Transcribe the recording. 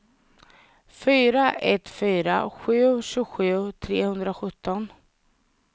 fyra ett fyra sju tjugosju trehundrasjutton